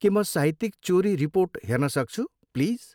के म साहित्यिक चोरी रिपोर्ट हेर्न सक्छु, प्लिज?